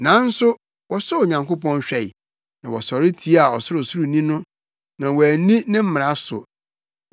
Nanso wɔsɔɔ Onyankopɔn hwɛe, na wɔsɔre tiaa Ɔsorosoroni no; na wɔanni ne mmara so.